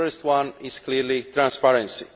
The first one is, clearly, transparency.